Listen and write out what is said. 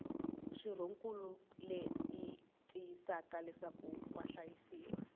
xirhonkulu leyi tiyisisaka leswaku vahlayisiwa